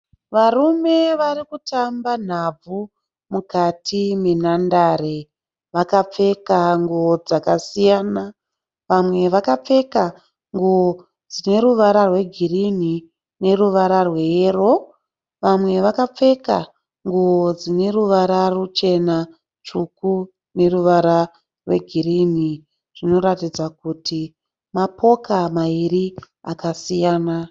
Varume vari kutamba nhabvu mukati menhandare. Vakapfeka nguo dzakasiyana. Vamwe vakapfeka nguo dzine ruvara rwegirini neruvara rweyero. Vamwe vakapfeka nguo dzine ruvara ruchena tsvuku neruvara rwegirini. Zvinoratidza kuti mapoka mairi akasiyana.